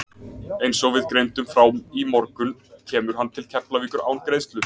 Eins og við greindum frá í morgun kemur hann til Keflavíkur án greiðslu.